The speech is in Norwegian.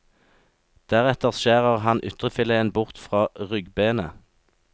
Deretter skjærer han ytrefileten bort fra ryggbenet.